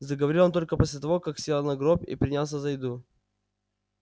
заговорил он только после того как сел на гроб и принялся за еду